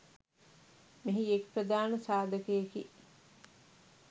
මෙහි එක් ප්‍රධාන සාධකයකි.